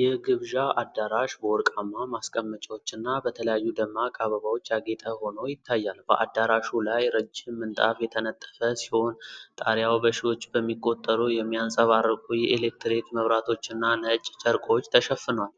የግብዣ አዳራሽ በወርቃማ ማስቀመጫዎችና በተለያዩ ደማቅ አበባዎች ያጌጠ ሆኖ ይታያል። በአዳራሹ ላይ ረጅም ምንጣፍ የተነጠፈ ሲሆን፤ ጣሪያው በሺዎች በሚቆጠሩ የሚያንጸባርቁ የኤሌክትሪክ መብራቶችና ነጭ ጨርቆች ተሸፍኗል።